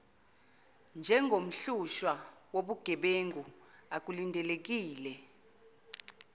njengomhlushwa wobugebengu akulindelekile